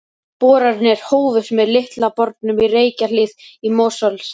Boranir hófust með Litla bornum í Reykjahlíð í Mosfellsdal.